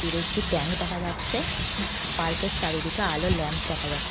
দূরে একটি ট্যাঙ্ক দেখা যাচ্ছে। পার্ক -এর চারিদিকে আলোর ল্যাম্প দেখা যা--